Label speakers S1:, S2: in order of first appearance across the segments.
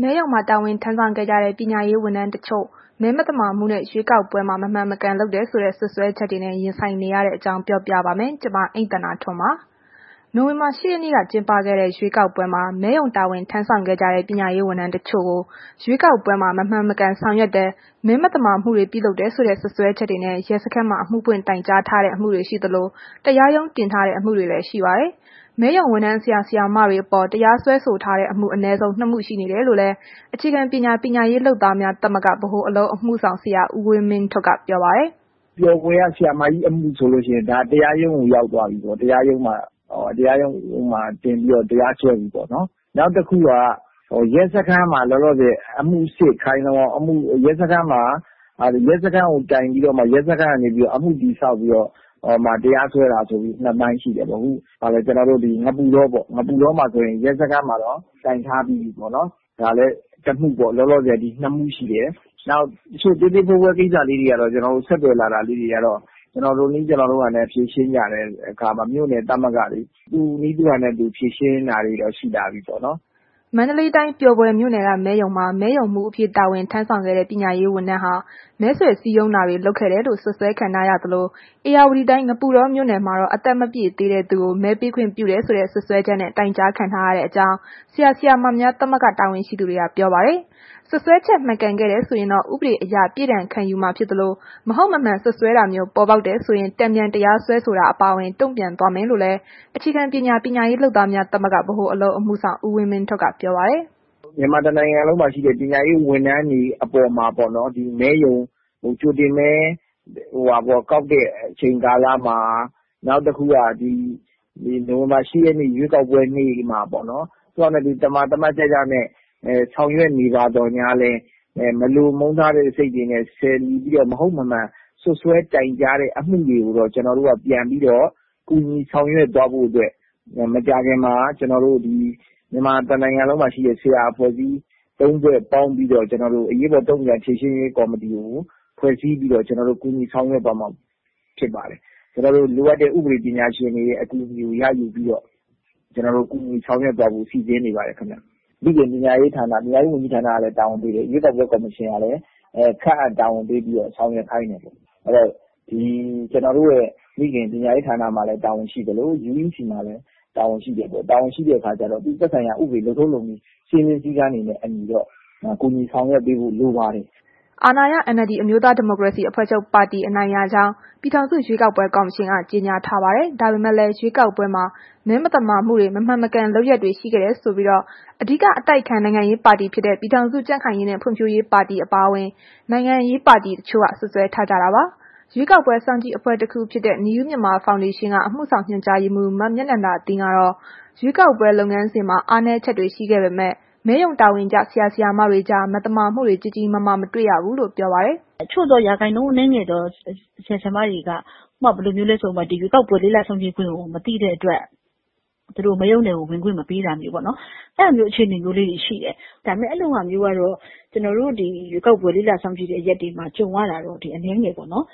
S1: မဲရုံမှာ တာဝန်ထမ်းဆောင်ခဲ့ကြတဲ့ ပညာရေးဝန်ထမ်းတချို့ မဲမသမာမှုနဲ့ ရွေးကောက်ပွဲမှာ မမှန်မကန်လုပ်တယ်ဆိုတဲ့ စွပ်စွဲချက်တွေနဲ့ ရင်ဆိုင်နေရတဲ့ အကြောင်းပြောပြပါမယ်။ ဒီအကြောင်း ဗွီအိုအေမြန်မာပိုင်း သတင်းထောက် မအိမ့်သန္တာထွန်းက သတင်းပေးပို့ထားပါတယ်။ နိုဝင်ဘာ ၈ ရက်နေ့က ကျင်းပခဲ့တဲ့ ရွေးကောက်ပွဲမှာ မဲရုံတာဝန်ထမ်းဆောင်ခဲ့ကြတဲ့ ပညာရေးဝန်ထမ်းတစ်ချို့ကို ရွေးကောက်ပွဲမှာ မမှန်မကန်ဆောင်ရွက်တယ်။ မဲမသမာမှုတွေ ပြုလုပ်တယ်ဆိုတဲ့ စွပ်စွဲချက်တွေနဲ့ ရဲစခန်းမှာ အမှုဖွင့်တိုင်ကြားထားတဲ့ အမှုတွေရှိသလို တရားရုံးတင်ထားတဲ့ အမှုတွေလည်း ရှိပါတယ်။ မဲရုံဝန်ထမ်း ဆရာ၊ ဆရာမတွေအပေါ် တရားစွဲဆိုထားတဲ့အမှု အနည်းဆုံး ၂ မှု ရှိနေတယ်လို့လည်း အခြေခံပညာ ပညာရေးလုပ်သားများ သမဂ္ဂက ဗဟိုအလုပ်အမှုဆောင် ဆရာဦးဝင်းမင်းထွဋ်က ပြောပါတယ်
S2: ။ “ပျော်ဘွယ်က ဆရာမကြီးအမှုဆိုလို့ရှိရင် ဒါ တရားရုံးကို ရောက်သွားပြီပေါ့။ တရားရုံးမှာတင်ပြီး တရားစွဲပြီပေါ့။ နောက်တစ်ခုက လောလောဆယ် ရဲစခန်းမှာ တိုင်ပြီးတော့မှ အမှုတည်ဆောက်ပြီးတော့မှ တရားစွဲတာ ဆိုပြီး ၂ ပိုင်း ရှိတယ်ပေါ့။ ငပုတောပေါ့၊ ငပုတောမှာ ဆိုရင်တော့ ရဲစခန်းမှာတော့ တိုင်ထားပြီးပြီ။ ဒါလည်းတစ်မှုပေါ့၊ လောလောဆယ် ဒီ ၂ မှု ရှိတယ်။ နောက် တစ်ချို့ သေးသေးဖွဲဖွဲကိစ္စလေးတွေကတော့ ဆက်သွယ်လာတာ ကျနော်တို့နည်း ကျနော်တို့ဟန်နဲ့ ဖြေရှင်းကြတယ်။ မြို့နယ်သမဂ္ဂတွေက သူ့နည်းသူဟန်နဲ့ ဖြေရှင်းတာတွေတော့ ရှိတာပေါ့။
S1: ” မန္တလေးတိုင်း ပျော်ဘွယ်မြို့နယ်က မဲရုံမှာ မဲရုံမှူးအဖြစ် တာဝန်ထမ်းဆောင်ခဲ့တဲ့ ပညာရေးဝန်ထမ်းဟာ မဲဆွယ်စည်းရုံးတာတွေ လုပ်ခဲ့တယ်လို့ စွပ်စွဲခံထားရသလို ဧရာဝတီတိုင်း ငပုတောမြို့နယ်မှာတော့ အသက်မပြည့်သေးတဲ့သူကို မဲပေးခွင့်ပြုတယ်ဆိုတဲ့ စွပ်စွဲချက်နဲ့ တိုင်ကြားခံထားရကြောင်းလည်း ဆရာ၊ ဆရာမများ သမဂ္ဂ တာဝန်ရှိသူတွေက ပြောပါတယ်။ စွပ်စွဲချက် မှန်ခဲ့တယ်ဆိုရင်တော့ ဥပဒေအရ ပြစ်ဒဏ်ခံယူမှာဖြစ်သလို မဟုတ်မမှန်စွပ်စွဲတာမျိုး ပေါ်ပေါက်တယ်ဆိုရင် တန်ပြန်တရားစွဲဆိုတာ အပါအဝင် တုံ့ပြန်သွားမယ်လို့လည်း အခြေခံပညာ ပညာရေးလုပ်သားများ သမဂ္ဂက ဗဟိုအလုပ်အမှုဆောင် ဦးဝင်းမင်းထွဋ်က ပြောပါတယ်။
S2: “မြန်မာတစ်နိုင်ငံလုံးမှာရှိတဲ့ ပညာရေးဝန်ထမ်းတွေ အပေါ်မှာပေါ့နော်။ မဲရုံ ကြိုတင်မဲကောက်တဲ့ အချိန်ကာလမှာ နောက်တစ်ခုက နိုဝင်ဘာ ၈ ရက်နေ့ ရွေးကောက်ပွဲနေ့မှာပေါ့နော်။ သမာသတ်ကျကျနဲ့ ဆောင်ရွက်နေပါသော်ငြားလည်း မလိုမုန်းထားတဲ့စိတ်နဲ့ လီဆယ်ပြီးတော့ မဟုတ်မမှန် စွပ်စွဲတိုင်ကြားတဲ့ အမှုတွေကိုတော့ ကျနော်တို့က ပြန်ပြီးတော့ ကူညီဆောင်ရွက်သွားဖို့အတွက် မကြာခင်မှာ ကျနော်တို့ မြန်မာတစ်နိုင်ငံလုံးမှာ ရှိတဲ့ ဆရာအဖွဲ့ ၃ ဖွဲ့ပေါင်းပြီးတော့ အရေးပေါ်တုံ့ပြန်ဖြေရှင်းရေး ကော်မတီကို ဖွဲ့စည်းပြီးတော့ ကျနော်တို့ ကူညီဆောင်ရွက်သွားမှာဖြစ်ပါတယ်။ ကျနော်တို့ လိုအပ်တဲ့ ဥပဒေပညာရှင်တွေရဲ့ အကူအညီကို ရယူပြီးတော့ ကျနော်တို့ ကူညီဆောင်ရွက်သွားဖို့ စီစဉ်နေပါတယ် ခင်ဗျ။ မိခင်ပညာရေးဝန်ကြီးဌာနကလည်း တာဝန်ပေးတယ်။ ရွေးကောက်ပွဲ ကော်မရှင်ကလည်း ခန့်အပ်တာဝန်ပေးပြီးတော့ ဆောင်ရွက်ခိုင်းတယ်ပေါ့။ အဲ့ဒီတော့ ကျနော်တို့ မိခင် ပညာရေးဌာနမှာလည်း တာဝန်ရှိသလို UEC မှာလည်း တာဝန်ရှိတယ်။ တာဝန်ရှိတဲ့အခါကျတော့ သက်ဆိုင်ရာ လုပ်ထုံးလုပ်နည်း စည်းမျဉ်းစည်းကမ်းတွေနဲ့ အညီတော့ ကူညီဆောင်ရွက်ပေးဖို့ လိုပါတယ်။”
S1: အာဏာရ NLD အမျိုးသားဒီမိုကရေစီအဖွဲ့ချုပ် အနိုင်ရကြောင်း ပြည်ထောင်စု ရွေးကောက်ပွဲ ကော်မရှင်ကတော့ ကြေညာထားပါတယ်။ ဒါပေမဲ့လည်း ရွေးကောက်ပွဲမှာ မဲမသမာမှုတွေ မမှန်မကန်လုပ်ရပ်တွေ ရှိခဲ့တယ်ဆိုပြီး အဓိက အတိုက်အခံ နိုင်ငံရေးပါတီ ပြည်ထောင်စု ကြံ့ခိုင်ရေးနဲ့ ဖွံ့ဖြိုးရေးပါတီ အပါအဝင် နိုင်ငံရေးပါတီ တချို့က စွပ်စွဲထားကြတာပါ။ ရွေးကောက်ပွဲစောင်ကြည့်အဖွဲ့တစ်ခုဖြစ်တဲ့ New Myanmar Foundation က အမှုဆောင်ညွှန်ကြားရေးမှုး မမြနန္ဒသင်းကတော့ ရွေးကောက်ပွဲ လုပ်ငန်းစဉ်မှာ အားနည်းချက်တွေ ရှိခဲ့ပေမဲ့ မဲရုံတာဝန်ကျ ဆရာ၊ ဆရာမတွေကြား မသမာမှုတွေ ကြီးကြီးမားမား မတွေ့ခဲ့ရဘူးလို့ ပြောပါတယ်။ “အချို့သော ရာခိုင်နှန်းအနည်းငယ်သော ဆရာဆရာမတွေက ဥပမာ ဘယ်လိုမျိုးလဲဆိုတော့ ဒီရွေးကောက်ပွဲ လေ့လာစောင့်ကြည့်ခွင့်ကို မသိတဲ့အတွ
S3: က် မဲရုံထဲကို ဝင်ခွင့်မပေးနာမျိုးပေါ့နော်။ အဲ့ဒါမျိုး အခြေအနေမျိုးလေးတွေ ရှိတယ်။ ဒါပေမဲ့ အဲ့ဒီလိုဟာမျိုးကတော့ ရွေးကောက်ပွဲလေ့လာ စောင့်ကြည့်တဲ့ နေရာတွေမှာ ကြုံရတာကတော့ အနည်းငယ်ပဲပေါ့နော်။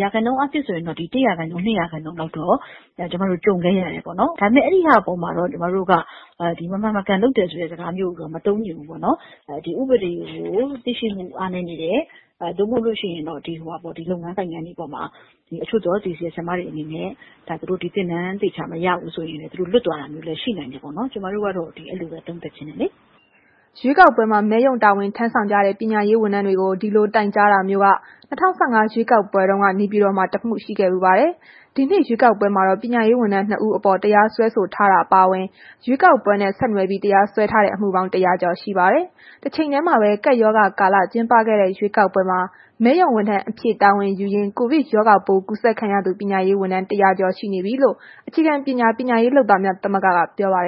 S3: ရာခိုင်နှုန်းအားဖြင့်ဆိုရင်တော့ ၁ ရာခိုင်နှုန်း၊ ၂ ရာခိုင်နှုန်းလောက်တော့ ကြုံခဲ့ရတယ်ပေါ့နော်။ ဒါပေမဲ့ အဲ့ဒီဟာ အပေါ်မှာတော့ ကျမတို့က မမှန်မကန်လုပ်တယ်ဆိုတဲ့ အသုံးမျိုးတော့ မသုံးချင်ဘူးပေါ့နှော်။ ဒီဥပဒေကို သိရှိမှု အားနည်းနေတယ်။ မဟုတ်လို့ရှိရင် ဒီလုပ်ငန်းတွေအပေါ်မှာ အချို့သော ဆရာမတွေအနေနဲ့ ဒီသင်တန်းတွေ သေချာမရလို့ တချို့လွတ်သွားတာမျိုးလည်း ရှိနိုင်တဲ့အတွက် ကျမတို့ကတော့ အဲ့ဒီလိုပဲ သုံးသပ်ချင်တယ်။
S1: ” ရွေးကော်ပွဲမှာ မဲရုံတာဝန်ထမ်းဆောင်ကြတဲ့ ပညာရေးဝန်ထမ်းတွေကို ဒီလိုတိုင်ကြားတာမျိုးက ၂၀၁၅ ရွေးကောက်ပွဲတုန်းက နေပြည်တော်မှာ တစ်မှု ရှိခဲ့ဖူးပါတယ်။ ဒီနှစ်ရွေးကောက်ပွဲမှာတော့ ပညာရေးဝန်ထမ်း ၂ ဦးအပေါ် တရားစွဲဆိုထားတာ အပါအဝင် ရွေးကောက်ပွဲနဲ့ ဆက်နွယ်ပြီး တရားစွဲထားတဲ့ အမှုပေါင်း ၁၀၀ ကျော် ရှိပါတယ်။ တချိန်တည်းမှာပဲ ကပ်ရောဂါကာလ ကျင်းပခဲ့တဲ့ ရွေးကောက်ပွဲမှာ မဲရုံဝန်ထမ်းအဖြစ် တာဝန်ယူရင်း ကိုဗစ်ရောဂါပိုး ကူးစက်ခံရသူ ပညာရေးဝန်ထမ်း ၁၀၀ ကျော်ရှိနေပြီလို့ ခြေခံပညာ ပညာရေးလုပ်သားများ သမဂ္ဂက ပြောပါတယ